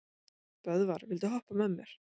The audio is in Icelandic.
Böðvar, viltu hoppa með mér?